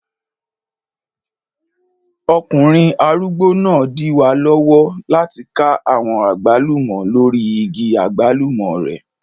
Ọkùnrin arúgbó náà n dí wa lọ́wọ́ láti ká àwọn àgbálùmọ́ lórí igi àgbálùmọ́ rẹ̀